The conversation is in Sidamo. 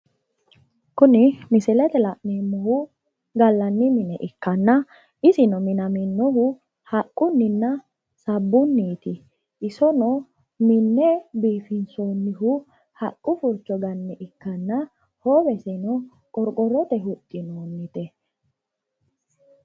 kuni misilete la'neemmohu gallanni mine ikkanna isino minaminnohu haqqunninna sabbuniiti isono minne biifinsoonihu haqqu furcho ganne ikkanna hoowesino qorqorrote huxxinoonnite.